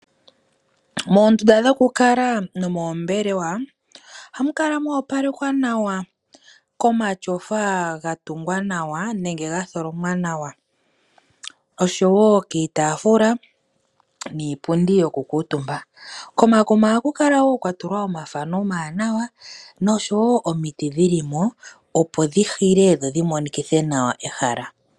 Moondunda dhokukala nomoombelewa ohamu kala mwa opalekwa nawa, komatyofa ga tholomwa nawa osho wo kiitafula niipundi yokukuutumba. Komakuma ohaku kala kwa natekwa omathano omawanawa osho wo omiti dhi limo opo dhi hike dho dhi monikithe nawa ehala.